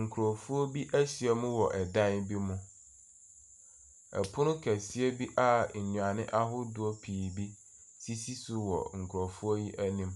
Nkurofoɔ bi ahyia mu wɔ ɛdan bi mu. Ɛpono kɛseɛ bi a nnuane ahodoɔ pii bi sisi so wɔ nkurɔfoɔ yi anim.